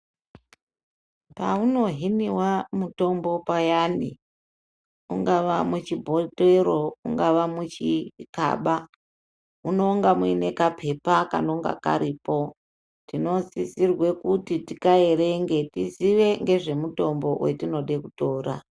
Paunohiniva mutombo payani ungava muchibhotoro ungava muchikaba munonga muine kapepa kanonga karipo. Tinosisirwe kuti tikaerenge tizive ngezvemutombo vetinode kutora.